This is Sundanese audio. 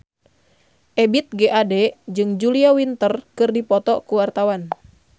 Ebith G. Ade jeung Julia Winter keur dipoto ku wartawan